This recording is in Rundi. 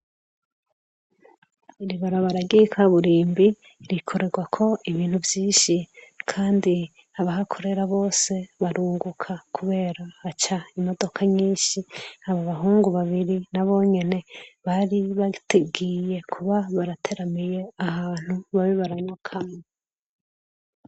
Iri barabara ry'ikaburimbi rikorerwako ibintu vyinshi. Kandi abahakorera bose barunguka, kubera haca imodoka nyinshi . Aba bahungu babiri nabo nyene bari bagiye kuba barateramiye ahantu, babe baranywa kamwe.